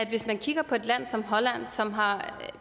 hvis man kigger på et land som holland som har